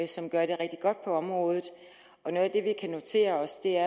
som gør det rigtig godt på området noget af det vi kan notere os er